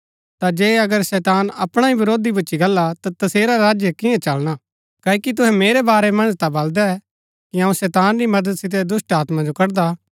ता जे अगर शैतान अपणा ही वरोधी भूच्ची गल्ला ता तसेरा राज्य कियां चलना क्ओकि तुहै मेरै वारै मन्ज ता बलदै कि अऊँ शैतान री मदद सितै दुष्‍टात्मा जो कड़दा